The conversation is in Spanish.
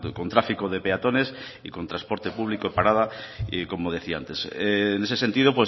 con tráfico de peatones y con transporte público y parada como decía antes en ese sentido